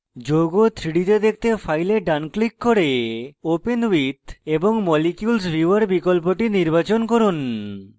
যৌগ 3d to দেখতে file ডান click করে open with এবং molecules viewer বিকল্পটি নির্বাচন করুন